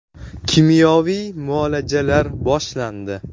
Kimyoviy muolajalar boshlandi.